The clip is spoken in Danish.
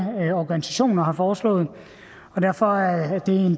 organisationer har foreslået og derfor er